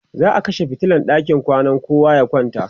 za'a kashe fitilan ɗakin kwana kowa ya kwanta